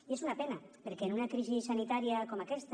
i és una pena perquè en una crisi sanitària com aquesta